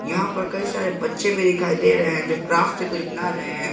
यहां पर कई सारे बच्चे भी दिखाई दे रहे हैं जो क्राफ्ट से कुछ बना रहे हैं।